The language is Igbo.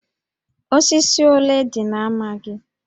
Osisi ole dị na ámá gị?